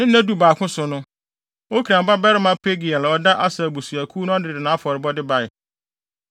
Ne nna dubaako so no, Okran babarima Pagiel a ɔda Aser abusuakuw ano no de nʼafɔrebɔde bae.